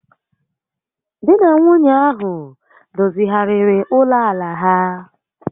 Di na nwunye ahụ dozigharịrị ụlọ àlà ha